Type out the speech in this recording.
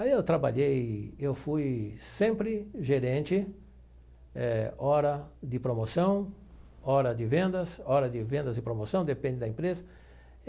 Aí eu trabalhei, eu fui sempre gerente, eh hora de promoção, hora de vendas, hora de vendas e promoção, depende da empresa.